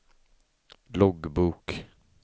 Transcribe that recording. loggbok